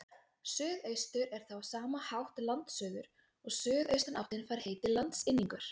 suðaustur er þá á sama hátt landsuður og suðaustanáttin fær heitið landsynningur